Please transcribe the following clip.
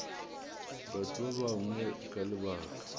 batho ba bangwe ka lebaka